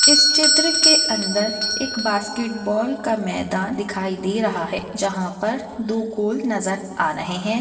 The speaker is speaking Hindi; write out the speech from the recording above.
इस चित्र के अंदर एक बास्केट बॉल का मैदान दिखाई दे रहा है जहा पर दो गोल नज़र आ रहे है।